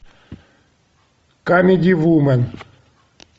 камеди вумен